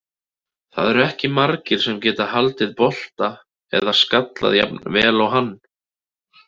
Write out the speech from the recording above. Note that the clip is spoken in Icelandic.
Það eru ekki margir sem geta haldið bolta eða skallað jafn vel og hann.